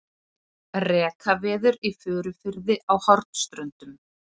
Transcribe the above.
Rekaviður í Furufirði á Hornströndum.